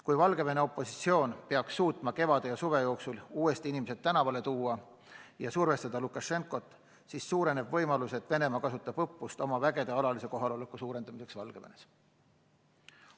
Kui Valgevene opositsioon peaks suutma kevade ja suve jooksul uuesti inimesed tänavale tuua ja survestada Lukašenkat, siis suureneb võimalus, et Venemaa kasutab õppust oma vägede alalise kohaloleku suurendamiseks Valgevenes.